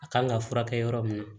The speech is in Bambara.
A kan ka furakɛ yɔrɔ min na